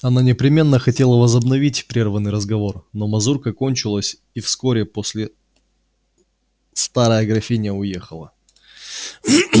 она непременно хотела возобновить прерванный разговор но мазурка кончилась и вскоре после старая графиня уехала